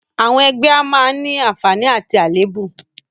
Àwọn ẹgbẹ́ a máa ní àǹfààní àti àléébù